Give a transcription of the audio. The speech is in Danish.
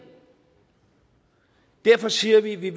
derfor siger vi at vi